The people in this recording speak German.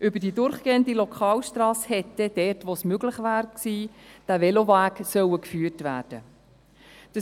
Über die durchgehende Lokalstrasse hätte dieser Veloweg dort, wo es möglich gewesen wäre, hindurchgeführt werden sollen.